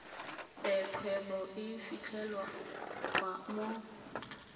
e kgwebo e fitlhelwang mo